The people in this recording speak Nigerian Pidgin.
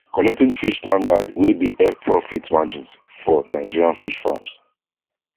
collecting fish standard wey dey help profit margins for nigerian fish farms